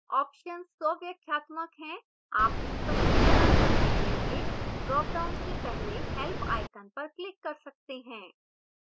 options स्वव्याख्यात्मक हैं आप स्पष्टीकरण पढ़ने के लिए dropdown से पहले help icon पर click कर सकते हैं